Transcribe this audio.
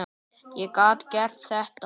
Ég gat gert þetta.